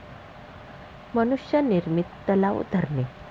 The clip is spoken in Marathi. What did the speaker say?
मनुष्य निर्मित तलाव, धरणे